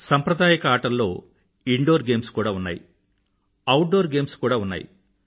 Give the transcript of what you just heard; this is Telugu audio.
సంప్రదాయక ఆటల్లో ఇన్ డోర్ గేమ్స్ కూడా ఉన్నాయి అవుట్ డోర్ గేమ్స్ కూడా ఉన్నాయి